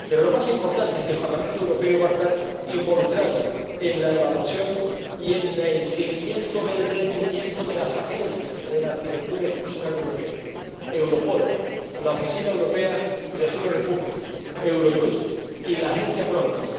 Pero lo más importante es que el Parlamento Europeo va a estar involucrado en la evaluación y el seguimiento del rendimiento de las agencias de la arquitectura institucional europea Europol, la Oficina Europea de Asilo y Refugio, Eurojust y la Agencia Frontex.